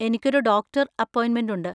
എനിക്കൊരു ഡോക്ടർ അപ്പോയിന്‍മെന്‍റ് ഉണ്ട്.